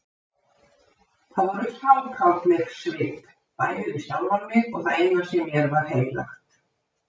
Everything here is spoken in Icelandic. Það voru hjákátleg svik, bæði við sjálfan mig og það eina sem mér var heilagt.